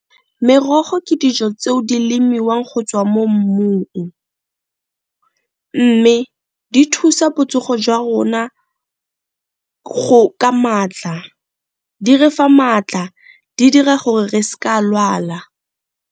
Merogo ke dijo tseo di lemiwang go tswa mo mmung, mme di thusa botsogo jwa rona ka maatla di re fa maatla, di dira gore re s'ka lwala.